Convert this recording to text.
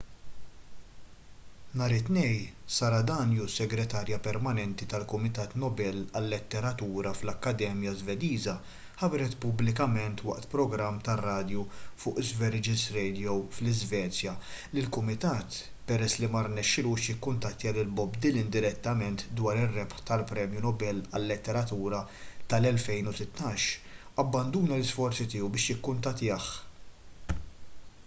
nhar it-tnejn sara danius segretarja permanenti tal-kumitat nobel għal-letteratura fl-akkademja żvediża ħabbret pubblikament waqt programm tar-radju fuq sveriges radio fl-iżvezja li l-kumitat peress li ma rnexxielux jikkuntattja lil bob dylan direttament dwar ir-rebħ tal-premju nobel għal-letteratura tal-2016 abbanduna l-isforzi tiegħu biex jikkuntattjah